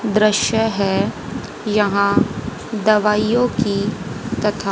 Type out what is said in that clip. दृश्य है यहां दवाइयों की तथा--